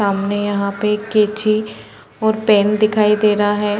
सामने यहाँ पे कैची और पेन दिखाई दे रहा हैं ।